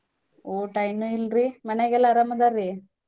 ಊಟಾ ಇನ್ನೂಇಲ್ರೀ ಮನ್ಯಾಗ್ ಎಲ್ಲಾ ಅರಮ್ ಅದಾರ್ರೀ?